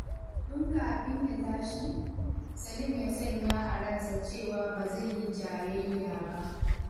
Tun kafin ya tashi, Salim ya sanya a ransa cewa ba zai yi jayayya ba.